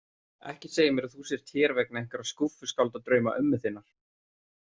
Ekki segja mér að þú sért hér vegna einhverra skúffuskáldadrauma ömmu þinnar.